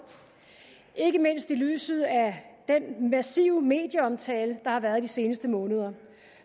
ikke mindst i lyset af den massive medieomtale der har været i de seneste måneder og